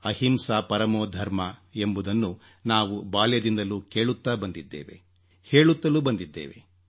ಅಹಿಂಸಾ ಪರಮೋಧರ್ಮ ಎಂಬುದನ್ನು ನಾವು ಬಾಲ್ಯದಿಂದಲೂ ಕೇಳುತ್ತಾ ಬಂದಿದ್ದೇವೆ ಹೇಳುತ್ತಲೂ ಬಂದಿದ್ದೇವೆ